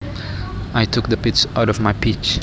I took the pits out of my peach